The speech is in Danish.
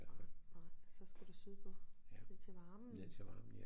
Nej nej så skal du sydpå ned til varmen